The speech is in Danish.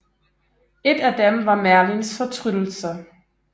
Et af dem var Merlins fortryllelse